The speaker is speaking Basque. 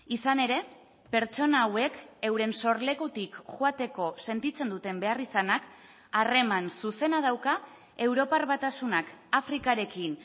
izan ere pertsona hauek euren sorlekutik joateko sentitzen duten beharrizanak harreman zuzena dauka europar batasunak afrikarekin